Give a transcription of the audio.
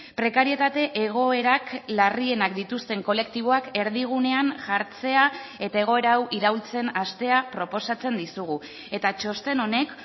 prekarietate egoerak larrienak dituzten kolektiboak erdigunean jartzea eta egoera hau iraultzen hastea proposatzen dizugu eta txosten honek